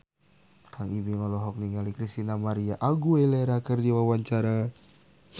Kang Ibing olohok ningali Christina María Aguilera keur diwawancara